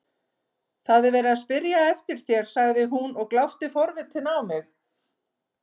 Það er verið að spyrja eftir þér sagði hún og glápti forvitin á mig.